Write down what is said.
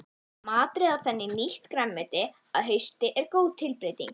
Að matreiða þannig nýtt grænmeti að hausti er góð tilbreyting.